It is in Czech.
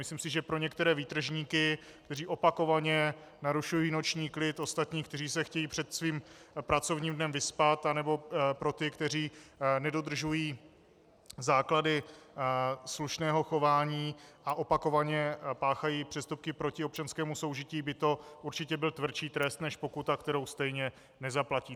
Myslím si, že pro některé výtržníky, kteří opakovaně narušují noční klid ostatních, kteří se chtějí před svým pracovním dnem vyspat, anebo pro ty, kteří nedodržují základy slušného chování a opakovaně páchají přestupky proti občanskému soužití, by to určitě byl tvrdší trest než pokuta, kterou stejně nezaplatí.